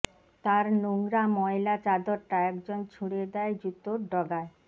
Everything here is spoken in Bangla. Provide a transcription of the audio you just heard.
তার নোংরা ময়লা চাদরটা একজন ছুড়ে দেয় জুতোর ডগায়